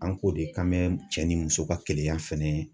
An ko de ka mɛn cɛ ni muso ka kɛnɛya fɛnɛ